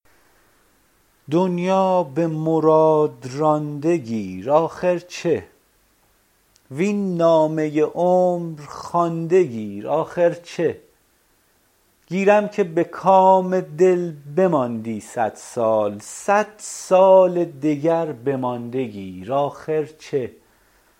دنیا به مراد رانده گیر آخر چه وین نامه عمر خوانده گیر آخر چه گیرم که به کام دل بماندی صد سال صد سال دگر بمانده گیر آخر چه